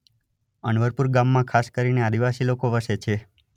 અનવરપુરા ગામમાં ખાસ કરીને આદિવાસી લોકો વસે છે.